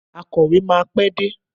Akọ̀wé máa pé dé.